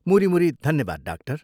मुरी मुरी धन्यवाद, डाक्टर।